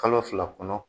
Kalo fila kɔnɔ